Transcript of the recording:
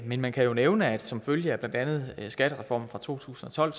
men man kan nævne at som følge af blandt andet skattereformen fra to tusind og tolv